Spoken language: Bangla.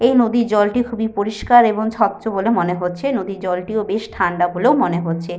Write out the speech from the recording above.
এই নদীর জলটি খুবই পরিস্কার এবং স্বচ্ছ বলে মনে হচ্ছে। নদীর জলটিও বেশ ঠান্ডা বলেও মনে হচ্ছে।